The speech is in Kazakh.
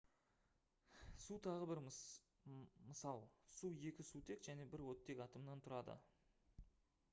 су тағы бір мысал су екі сутек және бір оттек атомынан тұрады